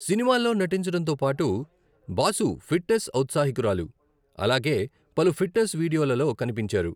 సినిమాల్లో నటించడంతో పాటు, బాసు ఫిట్నెస్ ఔత్సాహికురాలు, అలగే పలు ఫిట్నెస్ వీడియోలలో కనిపించారు.